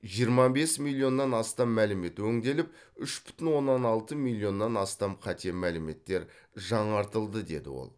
жиырма бес миллионнан астам мәлімет өңделіп үш бүтін оннан алты миллионнан астам қате мәліметтер жаңартылды деді ол